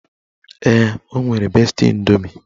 Ee, o nwere besti indomi